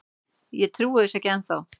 Ég trúi þessu ekki ennþá.